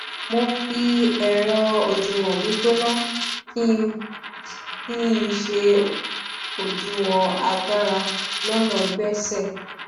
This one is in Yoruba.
mo fi ẹrọ òdiwọn gbígbóná kí n ṣe òdiwọn agbára lọnà gbéṣẹ